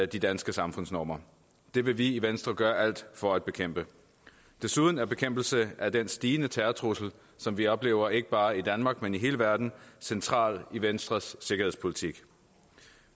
de danske samfundsnormer det vil vi i venstre gøre alt for at bekæmpe desuden er bekæmpelse af den stigende terrortrussel som vi oplever ikke bare i danmark men i hele verden central i venstres sikkerhedspolitik